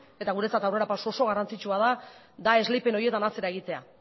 eta guretzat aurrerapauso oso garrantzitsua da esleipen horietan atzera egitea